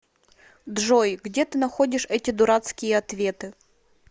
джой где ты находишь эти дурацкие ответы